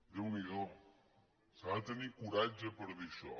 déu n’hi do s’ha de tenir coratge per dir això